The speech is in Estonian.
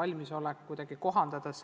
valmisolek õppevahendeid kuidagi kohandada.